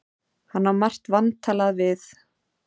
Hann á margt vantalað við